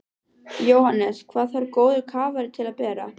Jóhannes: Hvað þarf góður kafari til að bera?